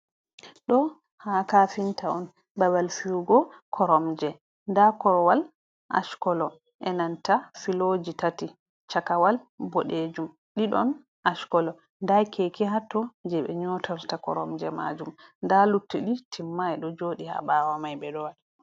Ɗo haa kafinta on, babal fiyugo koromje. Nda korwal ash kolo e nanta filoji tati; chakawal boɗejum ɗiɗon ash kolo. Nda keke hatto je ɓe nyotarta koromje majum, nda luttiɗi timmai do jodi ha ɓawo mai ɓe ɗo waɗa.